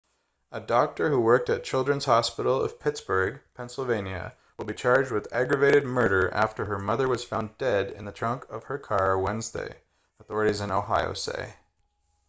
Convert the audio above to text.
a doctor who worked at children's hospital of pittsburgh pennsylvania will be charged with aggravated murder after her mother was found dead in the trunk of her car wednesday authorities in ohio say